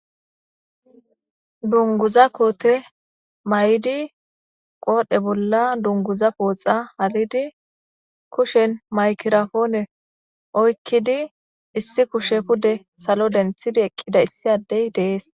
dunguza koote may7idi qoodhe bolla dunguza pooxa halidi kushen maykirafoone oykkidi issi kushe pude salo denthidi eqqida issi addey dees